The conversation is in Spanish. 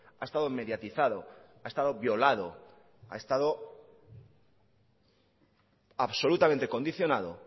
ha estado mediatizado ha estado violado ha estado absolutamente condicionado